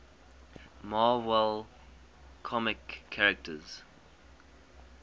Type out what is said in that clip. marvel comics characters